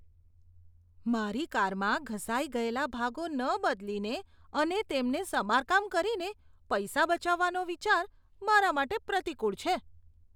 મારી કારમાં ઘસાઈ ગયેલા ભાગો ન બદલીને અને તેમને સમારકામ કરીને પૈસા બચાવવાનો વિચાર મારા માટે પ્રતિકૂળ છે.